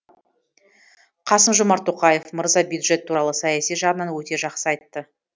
қасым жомарт тоқаев мырза бюджет туралы саяси жағынан өте жақсы айтты